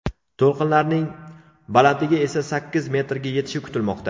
To‘lqinlarning balandligi esa sakkiz metrga yetishi kutilmoqda.